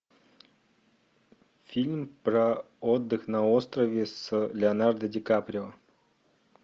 фильм про отдых на острове с леонардо дикаприо